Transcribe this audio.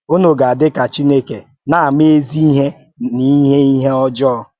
Unu gà-adị ka Chineke, na-ama ezi ihe na ihe ihe ọjọọ.